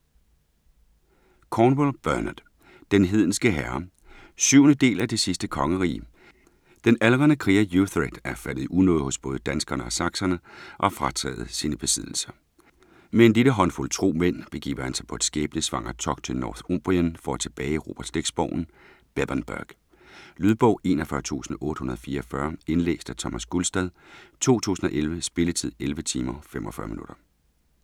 Cornwell, Bernard: Den hedenske herre 7. del af Det sidste kongerige. Den aldrende kriger Uhtred er faldet i unåde hos både danskerne og sakserne og frataget sine besiddelser. Med en lille håndfuld tro mænd begiver han sig på et skæbnesvangert togt til Northumbrien for at tilbageerobre slægtsborgen Bebbanburg. Lydbog 41844 Indlæst af Thomas Gulstad, 2011. Spilletid: 11 timer, 45 minutter.